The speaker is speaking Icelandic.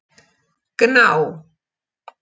Gná